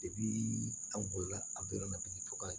aw bolila a bɛɛ nana tigi tɔgɔla